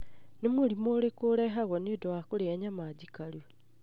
Nĩ mũrimũ ũrĩkũ ũrehagwo nĩũndũ wa kũrĩa nyama njikaru?